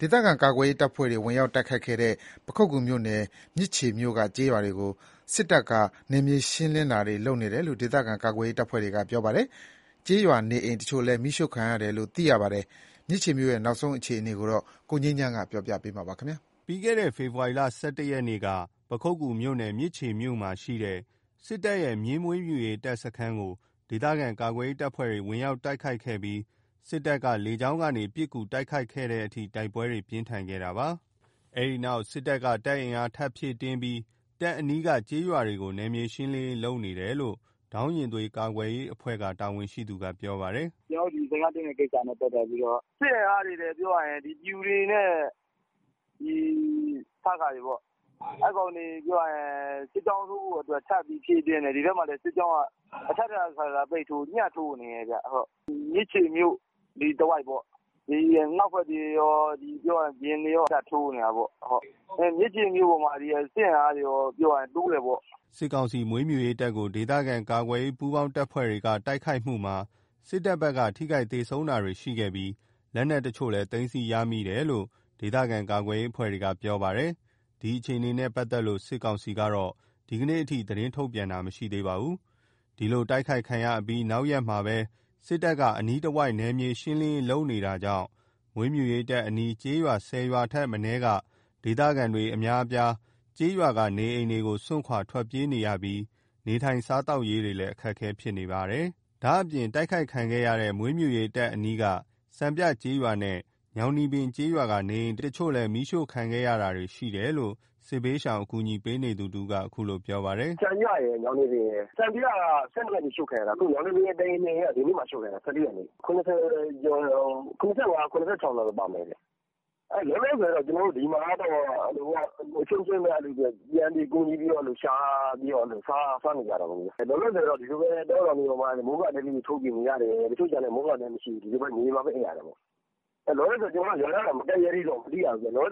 ဒေသခံကာကွယ်ရေးတပ်ဖွဲ့တွေ ဝင်ရောက် တိုက်ခိုက်ခဲ့တဲ့ ပခုက္ကူမြို့နယ် မြစ်ခြေမြို့က ကျေးရွာတွေကို စစ်တပ်က နယ်မြေရှင်းလင်းတာတွေ လုပ်နေတယ်လို့ ဒေသခံကာကွယ်ရေးတပ်ဖွဲ့တွေက ပြောပါတယ်။ ကျေးရွာနေအိမ်တချို့လည်း မီးရှို့ခံရတယ်လို့ သိရပါတယ်။ မြစ်ခြေမြို့ရဲ့ နောက်ဆုံးရ အခြေအနေကို ကိုငြိမ်းချမ်းက ပြောပြပါမယ်။ ပြီးခဲ့တဲ့ ဖေဖော်ဝါရီ ၁၁ ရက်က ပခုက္ကူမြို့နယ် မြစ်ခြေမြို့မှာရှိတဲ့ စစ်တပ်ရဲ့ မြင်းမွေးမြူရေးတပ်ကို ဒေသခံကာကွယ်ရေးတပ်ဖွဲ့တွေက ဝင်ရောက်တိုက်ခိုက်ခဲ့ပြီး၊ စစ်တပ်က လေကြောင်းကနေ ပစ်ကူတိုက်ခိုက်ခဲ့တဲ့အထိ တိုက်ပွဲတွေ ပြင်းထန်ခဲ့တာပါ။ အဲ့ဒီနောက် စစ်တပ်က တပ်အင်အားထပ်ဖြည့်တင်းပြီး တပ်အနီးက ကျေးရွာတွေကို နယ်မြေရှင်းလင်းရေးလုပ်နေတယ်လို့ ဒေါင်းရင်သွေး ကာကွယ်ရေးအဖွဲ့ တာဝန်ရှိသူက ပြောပါတယ်။ “ကျွန်တော်တို့ စခန်းသိမ်းတဲ့ကိစ္စနဲ့ပတ်သက်ပြီးတော့ စစ်အင်အားတွေလည်း ပျူတွေနဲ့ စခတွေပေါ့။ အဲ့ကောင်တွေ စစ်ကြောင်းထိုးဖို့အတွက် ထပ်ပြီးဖြည့်တင်းနေတယ်။ ဒီထဲမှာ စစ်ကြောင်းက အထပ်ထပ် အခါခါ ညှပ်ထိုးနေတယ်။ မြစ်ခြေမြို့အနီးတဝိုက်ပေါ့။ အနောက်ဖက်တွေကော ပြင်တွေကာ အကုန်ပတ်ထိုးနေတယ်။ မြစ်ခြေမြို့ပေါ်မှာလည်း စစ်အင်အားတွေတိုးတယ်ပေါ့။” စစ်ကောင်စီ မွေးမြူရေးတပ်ကို ဒေသကာကွယ်ရေးပူးပေါင်းအဖွဲ့တွေက တိုက်ခိုက်မှုမှာ စစ်တပ်ဘက်က ထိခိက်သေဆုံးတာတွေရှိခဲ့ပြီး လက်နက်အချို့လည်း သိမ်းဆည်းရမယ်လို့ ဒေသခံကာကွယ်ရေးအဖွဲ့တွေကပြောပါတယ်။ ဒီအခြေအနေနဲ့ပတ်သက်လို့ စစ်ကောင်စီက ဒီကနေ့အထိ သတင်းထုတ်ပြန်တာမရှိသေးပါဘူး။ ဒီလို တိုက်ခိုက်ခံရပြီးနောက်ရက်မှာ စစ်တပ်က အနီးဝန်းကျင်တဝိုက် နယ်မြေရှင်းလင်းရေးလုပ်နေတာကြောင့်၊ မွေးမြူရေးတပ်အနီး ကျေးရွာ၁၀ ရွာထက်မနည်းက ဒေသခံအများအပြား ကျေးရွာက နေအိမ်တွေကို စွန့်ခွာထွက်ပြေးနေရပြီး နေထိုင်စားသောက်ရေးလည်း အခက်အခဲဖြစ်နေပါတယ်။ ဒါ့အပြင် တိုက်ခိုက်ခံခဲ့ရတဲ့ မွေးမြူရေးတပ်အနီးက စံပြကျေးရွာနဲ့ ညောင်နီပင်ကျေးရွာက နေအိမ်အချို့လည်း မီးရှို့ခံရတာတွေရှိတယ်လို့ စစ်ဘေးရှောင်ကူညီပေးနေသူတဦးက အခုလို ပြောပါတယ်။ “စံပြရယ် ညောင်နီပင်ရယ် စံပြက ၁၂ ရက်နေ့ အရှို့ခံရတာ ညောင်နီပင် ၁ အိမ် ၂ အိမ်က ဒီနေ့မှ အရှို့ခံရတာ ၁၄ ရက်နေ့ (စုစုပေါင်း) ၇၀ ကျော် ၇၆ လုံးလောက်ပါမယ်ခင်ဗျ။ လောလောဆယ်ဒီမှာက အချင်းချင်းပဲ ပြန်ကူညီပြီးတော့ ရှာပြီးတော့ စားနေကြတာပေါ့။ လောလောဆယ် တောထဲတွေမှာ မိုးကာတဲလေးတွေ ထိုးပြီးနေရတယ်။ မိုးကာတဲမရှိတဲ့သူတွေက မြေပြင်မှာပဲအိပ်ရတာပေါ့။ လောလောဆယ် ကျွန်တော်တို့ ရွာနားတွေ မကပ်ရဲသေးဘူး။ ဒီကောင်တွေ ရွာ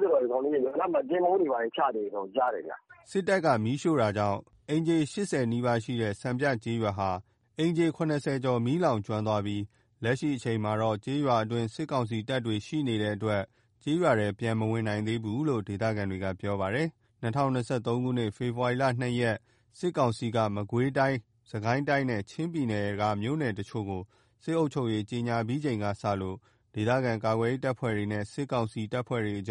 နားမှာ ကင်းပုန်းတွေချတယ်လို့ကြားတယ်။” စစ်တပ်က မီးရှို့တာကြောင့် အိမ်ခြေ ၈၀ နီးပါးရှိတဲ့ စံပြကျေးရွာဟာ အိမ်ခြေ ၇၀ ကျော်မီးလောင်ကျွမ်းသွားပြီး၊ လက်ရှိအချိန်မှာ ကျေးရွာအတွင်း စစ်ကောင်စီတပ်ရှိနေတဲ့အတွက် ကျေးရွာထဲပြန်မဝင်နိုင်သေးဘူးလို့ ဒေသခံတွေက ပြောပါတယ်။ ၂၀၂၃ ခုနှစ် ဖေဖော်ဝါရီ ၂ ရက် စစ်ကောင်စီက မကွေးတိုင်း စစ်ကိုင်းတိုင်း နဲ့ ချင်းပြည်နယ်တို့က မြို့နယ် အချို့ကို စစ်အုပ်ချုပ်ရေး ကြေငြာပြီးချိန်ကစလို့ ဒေသခံကာကွယ်ရေးတပ်ဖွဲ့တွေနဲ့ စစ်ကောင်စီအ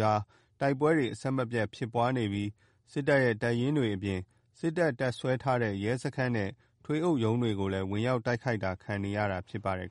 ကြား တိုက်ပွဲတွေ အဆက်မပြတ်ဖြစ်ပွားနေပြီး စစ်တပ်ရဲ့ တပ်ရင်းတွေအပြင် စစ်တပ် တပ်စွဲထားတဲ့ ရဲစခန်းနဲ့ ထွေအုပ်ရုံးတွေကို ဝင်ရောက်တိုက်ခိုက်ခံနေရတာလည်း ဖြစ်ပါတယ်